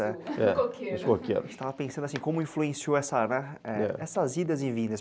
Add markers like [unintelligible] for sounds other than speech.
[unintelligible] no coqueiro [laughs] nos coqueiros. A gente estava pensando assim, [unintelligible] como influenciou essas idas e vindas.